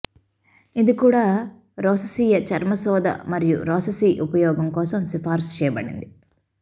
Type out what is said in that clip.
ఇది కూడా రోససీయ చర్మశోథ మరియు రోససీ ఉపయోగం కోసం సిఫార్సు చేయబడింది